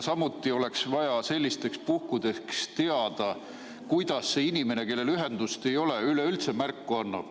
Samuti oleks vaja sellisteks puhkudeks teada, kuidas see inimene, kellel ühendust ei ole, üleüldse märku annab.